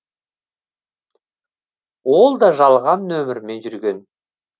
ол да жалған нөмірмен жүрген